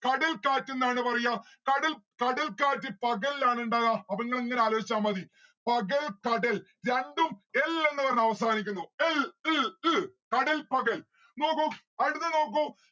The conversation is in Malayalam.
കടൽകാറ്റ് എന്നാണ് പറയാ കടൽ കടൽക്കാറ്റ് പകൽ ആണ് ഇണ്ടാകാ. അപ്പൊ നിങ്ങൾ ഇങ്ങനെ ആലോജിച്ച മതി പകൽ കടൽ രണ്ടും എൽ എന്ന് പറഞ് അവസാനിക്കുന്നു. എൽ ൽ ൽ കടൽ പകൽ. നോക്കൂ അടുത്തത് നോക്കൂ